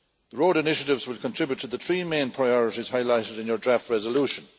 Road initiatives will contribute to the three main priorities highlighted in your draft resolution.